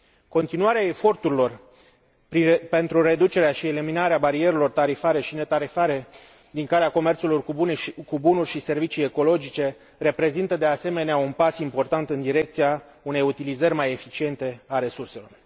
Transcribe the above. Continuarea eforturilor pentru reducerea și eliminarea barierelor tarifare și netarifare din calea comerțului cu bunuri și servicii ecologice reprezintă de asemenea, un pas important în direcția unei utilizări mai eficiente a resurselor.